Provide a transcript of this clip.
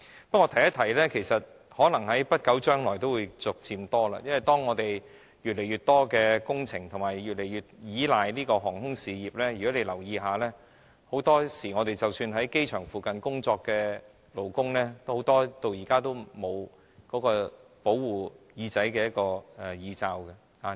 不過，我順便一提，這些個案可能在不久將來會逐漸增加，因為當我們越來越多工程是越來越依賴航空事業的，如果大家留意一下，很多時候很多即使在機場附近工作的勞工，到現在都沒有保護耳朵的耳罩。